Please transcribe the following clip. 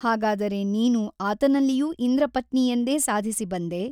ಹಾಗಾದರೆ ನೀನು ಆತನಲ್ಲಿಯೂ ಇಂದ್ರಪತ್ನಿಯೆಂದೇ ಸಾಧಿಸಿ ಬಂದೆ?